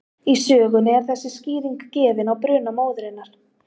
Í sögunni er þessi skýring gefin á bruna móðurinnar: